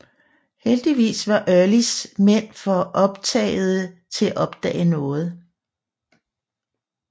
Heldigvis var Earlys mænd for optagede til at opdage noget